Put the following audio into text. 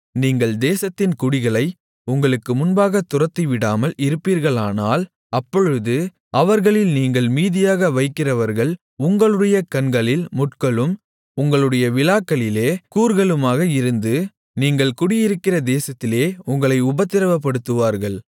நீங்கள் தேசத்தின் குடிகளை உங்களுக்கு முன்பாகத் துரத்திவிடாமல் இருப்பீர்களானால் அப்பொழுது அவர்களில் நீங்கள் மீதியாக வைக்கிறவர்கள் உங்களுடைய கண்களில் முட்களும் உங்களுடைய விலாக்களிலே கூர்களுமாக இருந்து நீங்கள் குடியிருக்கிற தேசத்திலே உங்களை உபத்திரவப்படுத்துவார்கள்